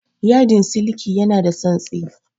Yadin siliki ya na da tsantsi